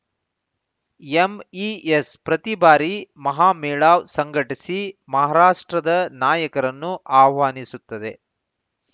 MES ಪ್ರತಿ ಬಾರಿ ಮಹಾಮೇಳಾವ್‌ ಸಂಘಟಿಸಿ ಮಹಾರಾಷ್ಟ್ರದ ನಾಯಕರನ್ನು ಆಹ್ವಾನಿಸುತ್ತದೆ